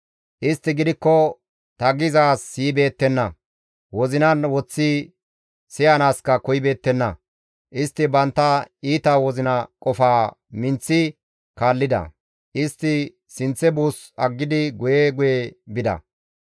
Istti gidikko ta gizaaz siyibeettenna; wozinan woththi siyanaaska koyibeettenna; istti bantta iita wozina qofaa minththi kaallida; istti sinththe buus aggidi guye guye bida.